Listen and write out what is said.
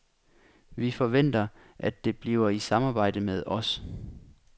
Vi forventer, at det bliver i samarbejde med os.